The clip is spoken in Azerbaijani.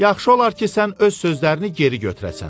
Yaxşı olar ki, sən öz sözlərini geri götürəsən.